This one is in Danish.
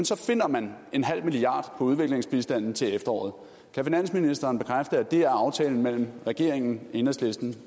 så finder man en halv milliard på udviklingsbistanden til efteråret kan finansministeren bekræfte at det er aftalen mellem regeringen enhedslisten